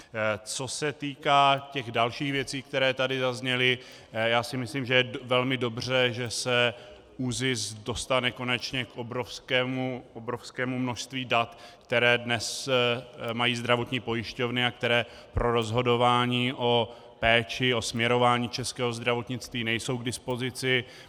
Co se týká těch dalších věcí, které tady zazněly, já si myslím že je velmi dobře, že se ÚZIS dostane konečně k obrovskému množství dat, která dnes mají zdravotní pojišťovny a která pro rozhodování o péči, o směrování českého zdravotnictví nejsou k dispozici.